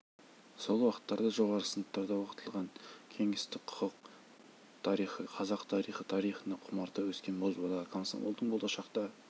сол уақыттарда жоғары сыныптарда оқытылған кеңестік құқық тарихы қазақ тарихы тарихына құмарта өскен бозбала комсомолдың болашақта